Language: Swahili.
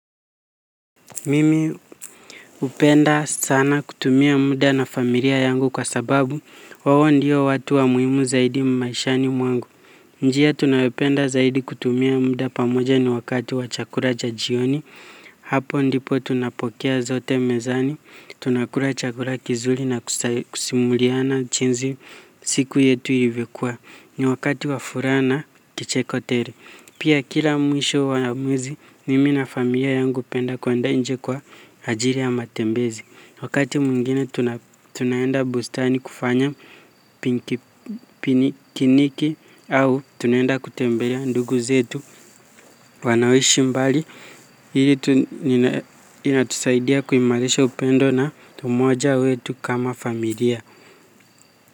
Mimi hupenda sana kutumia muda na familia yangu kwa sababu hao ndio watu wa muhimu zaidi maishani mwangu. Njia tunayopenda zaidi kutumia muda pamoja ni wakati wa chakula cha jioni. Hapo ndipo tunapokea zote mezani. Tunakula chakura kizuri na kusimuliana jinsi siku yetu ilivyokua. Ni wakati wa furaha na kicheko tele. Pia kila mwisho wa mwezi nimi na familia yangu hupenda kuenda nje kwa ajili ya matembezi. Wakati mwingine tunaenda bustani kufanya pikiniki au tunaenda kutembelea ndugu zetu wanaoishi mbali. Hili inatusaidia kuimalisha upendo na umoja wetu kama familia.